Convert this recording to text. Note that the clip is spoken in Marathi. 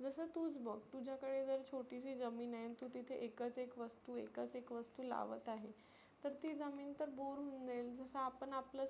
जसं तुच बघ तुझ्याकडे जर छोटीशी जमीन आहे तु तिथं एकच एक वस्तु एकच एक वस्तु लावत आहे. तर ती जमीन तर bore होऊन जाईल. जसं आपण आपलं